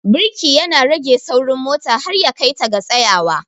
Birki ya na rage saurin mota har ya kai ta ga tsayawa.